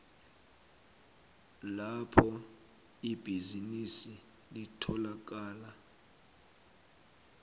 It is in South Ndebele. lapho ibhizinisi litholakala